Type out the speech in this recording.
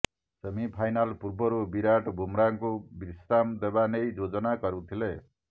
semifinal ପୂର୍ବରୁ ବିରାଟ୍ ବୁମ୍ରାଙ୍କୁ ବିଶ୍ରାମ ଦେବା ନେଇ ଯୋଜନା କରୁଥିଲେ